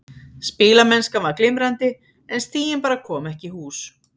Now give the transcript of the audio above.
Spilamennskan var glimrandi en stigin bara komu ekki í hús.